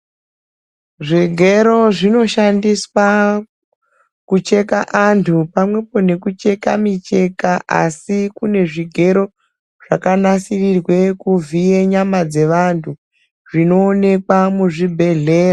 Zvigero zvinoshandiswa kucheka antu pamwepo nekucheka micheka asi kune zvigero zvakanasirirwe kuvhiye nyama dzevantu zvinoonekwa muzvibhedhlera.